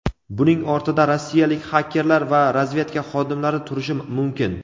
buning ortida rossiyalik xakerlar va razvedka xodimlari turishi mumkin.